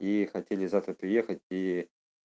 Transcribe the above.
и хотели завтра приехать и